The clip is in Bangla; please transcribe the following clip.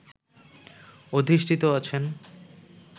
অধিষ্ঠিত আছেন